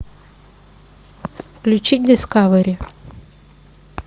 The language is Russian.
включи дискавери